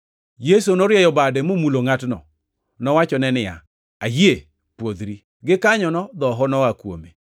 Yesu norieyo bade momulo ngʼatno. Nowachone niya, “Ayie. Pwodhri!” Gikanyono dhoho noa kuome.